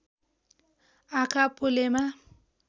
आँखा पोलेमा